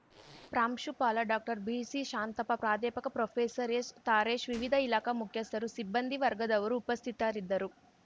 ಪ್ರಾಂಶುಪಾಲ ಡಾಕ್ಟರ್ಬಿಸಿಶಾಂತಪ್ಪ ಪ್ರಾಧ್ಯಾಪಕ ಪ್ರೊಫೆಸರ್ಎಸ್‌ತಾರೇಶ್‌ ವಿವಿಧ ಇಲಾಖಾ ಮುಖ್ಯಸ್ಥರು ಸಿಬ್ಬಂದಿ ವರ್ಗದವರು ಉಪಸ್ಥಿತರಿದ್ದರು